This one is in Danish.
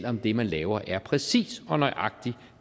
om det man laver er præcis og nøjagtig